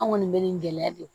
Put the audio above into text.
An kɔni bɛ nin gɛlɛya de